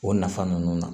O nafa ninnu na